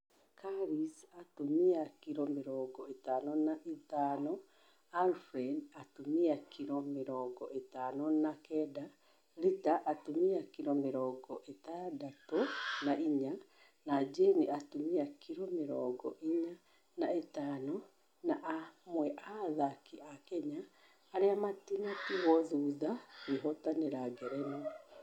Carlise( atumia, kiro mirongo ĩtano na ithano), Winfred ( atumia , kiro mirongo ĩtano na kenda), Rita( atumia, kiro mirongo ithathatu na inya) na jane( atumia, kiro mirongo inya na ithano) ni amwe a athaki a kenya arĩa matinatigwo thutha kwehotanira ngerenwa